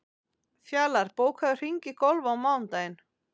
Fjalar, bókaðu hring í golf á mánudaginn.